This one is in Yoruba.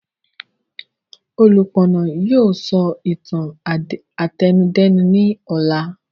Olúpọ̀nà yìí sọ ìtàn àtẹnudẹ́nu ni ọ̀la